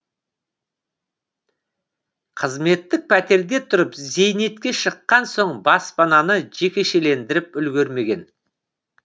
қызметтік пәтерде тұрып зейнетке шыққан соң баспананы жекешелендіріп үлгермеген